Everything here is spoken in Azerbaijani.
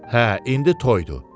Hə, indi toydur.